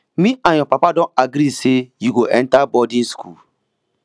me and your papa don agree say you go enter boarding school